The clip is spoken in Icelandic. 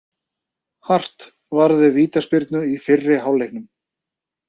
Hart varði vítaspyrnu í fyrri hálfleiknum